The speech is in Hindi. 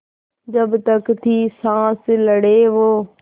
जब तक थी साँस लड़े वो